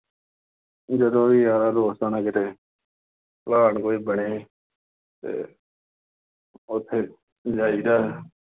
ਜਦੋਂ ਵੀ ਯਾਰ ਦੋਸਤ ਨਾਲ ਕਿਤੇ ਘਾਟ ਕੋਲ ਬਣੇ ਅਤੇ ਉੱਥੇ ਜਾਈ ਦਾ